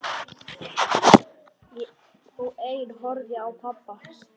Og ein horfði á pabba.